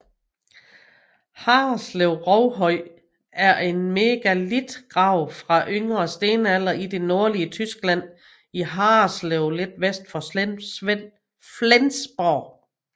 Harreslev Rovhøj er en megalitgrav fra yngre stenalder i det nordlige Tyskland i Harreslev lidt vest for Flensborg